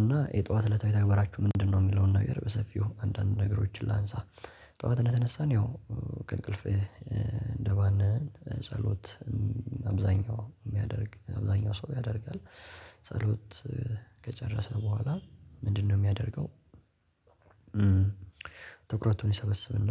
እና የጠዋት እለታዊ ተግባራችሁ ምንድነው? የሚለውን ነገር በሰፊው አንዳንድ ነገሮችን ላንሳ። ጠዋት እንደተነሳን ያው ከእንቅልፍህ እንደባነን ጸሎት። አብዛኛው የሚያደርግ አብዛኛው ሰው ያደርጋል። ጸሎት ከጨረሰ በኋላ ምንድነው የሚያደርገው? ትኩረቱን ይሰበስብና